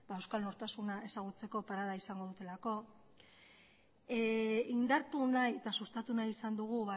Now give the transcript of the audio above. euskal nortasuna ezagutzeko parada izango dutelako indartu nahi eta sustatu nahi izan dugu